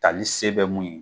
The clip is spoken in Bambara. ka ni se bɛ mun ye